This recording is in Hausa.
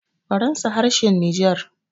faransa harshen niger